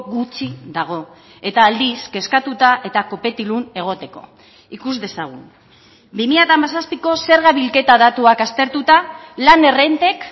gutxi dago eta aldiz kezkatuta eta kopetilun egoteko ikus dezagun bi mila hamazazpiko zerga bilketa datuak aztertuta lan errentek